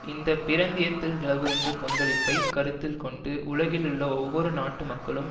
இந்த பிரந்தியத்தில் நிலவுகின்ற கொந்தளிப்பை கருத்தில் கொண்டு உலகிலுள்ள ஒவ்வொரு நாட்டு மக்களும்